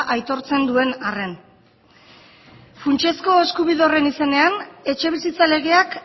aitortzen duen arren funtsezko eskubide horren izenean etxebizitza legeak